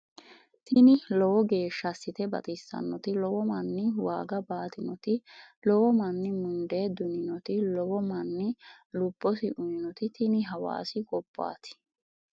Tini lowo geeshsha assite baxissannoti lowo manni waaga baatinoti lowo manni mundee duninoti lowo manni lubbosi uyinoti tini hawaasi gobbaati